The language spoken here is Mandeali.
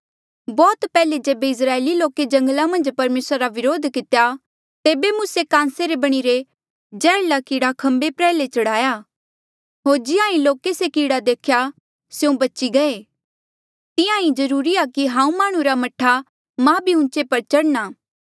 बौह्त पैहले जेबे इस्राएली लोके जंगला मन्झ परमेसरा रा व्रोध कितेया तेबे मूसे कांसे रे बणिरे जैहर्ला कीड़ा खम्बे प्र्याहले चढ़ाया होर जिहां ईं लोके से कीड़ा देख्या स्यों बची गये तिंहां ईं जरूरी आ कि हांऊँ माह्णुं रा मह्ठा मा भी ऊंचे पर चढ़णा